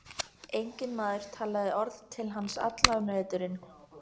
Enginn maður talaði orð til hans allan veturinn.